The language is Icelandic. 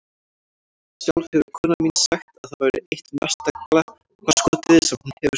Sjálf hefur konan mín sagt að það væri eitt mesta glappaskotið sem hún hefur gert.